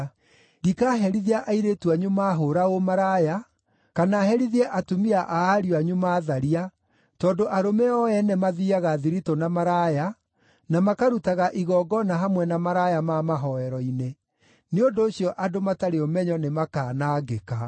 “Ndikaherithia airĩtu anyu maahũũra ũmaraya, kana herithie atumia a ariũ anyu maatharia, tondũ arũme o ene mathiiaga thiritũ na maraya, na makarutaga igongona hamwe na maraya ma mahooero-inĩ: nĩ ũndũ ũcio andũ matarĩ ũmenyo nĩmakanangĩka!